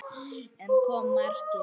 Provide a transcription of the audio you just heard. En ekki kom markið.